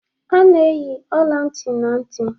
A na-eyi ọla ntị na ntị